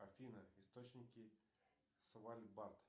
афина источники слайд бат